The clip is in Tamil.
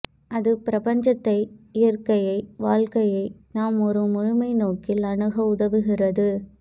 அது பிரபஞ்சத்தை இயற்கையை வாழ்க்கையை நாம் ஒரு முழுமைநோக்கில் அணுக உதவுகிறது